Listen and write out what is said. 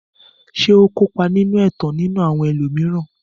Ṣé ó kópa nínú ẹ̀tàn nínú àwọn ẹlòmíràn.